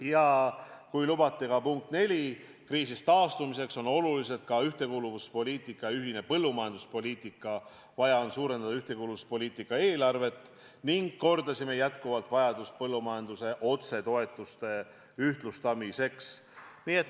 Ja kui lubate, siis ka punkt 4: kriisist taastumiseks on olulised ühtekuuluvuspoliitika ja ühine põllumajanduspoliitika, vaja on suurendada ühtekuuluvuspoliitika eelarvet ning, kordame seda jätkuvalt, ühtlustada põllumajanduse otsetoetusi.